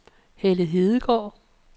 Helle Hedegaard